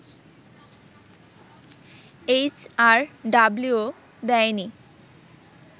HRW দেয়নি